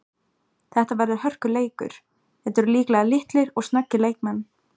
Þetta verður hörkuleikur, þetta eru líklega litlir og snöggir leikmenn.